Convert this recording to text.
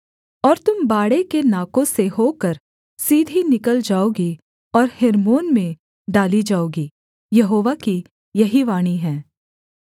और तुम बाड़े के नाकों से होकर सीधी निकल जाओगी और हेर्मोन में डाली जाओगी यहोवा की यही वाणी है